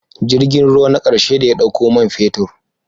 Jirgin ruwa na ƙarshe da ya ɗauko man fetur